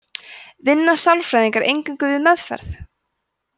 vinna sálfræðingar eingöngu við meðferð